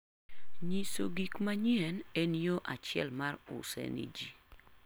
Nyiso gik manyien en yo achiel mar use ni ji.